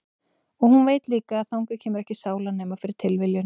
Og hún veit líka að þangað kemur ekki sála nema fyrir tilviljun.